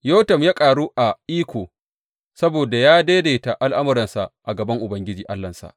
Yotam ya ƙaru a iko saboda ya daidaita al’amuransa a gaban Ubangiji Allahnsa.